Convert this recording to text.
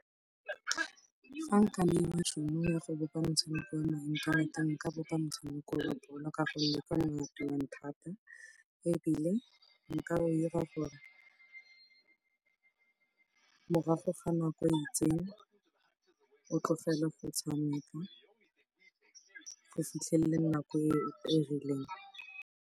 Fa nka neiwa tšhono ya go bopa motshameka wa mo inthaneteng, nka bopa motshameko wa bolo ka gonne thata. Ebile nka dira gore morago ga nako e itseng, o tlogele go tshameka go fitlhelle nako e e rileng.